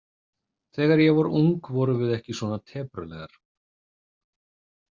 Þegar ég var ung vorum við ekki svona teprulegar.